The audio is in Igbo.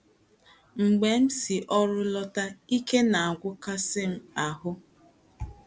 Mgbe m si ọrụ lọta, ike na - agwụkasị m ahụ́.